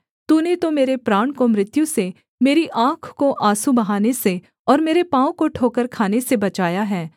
तूने तो मेरे प्राण को मृत्यु से मेरी आँख को आँसू बहाने से और मेरे पाँव को ठोकर खाने से बचाया है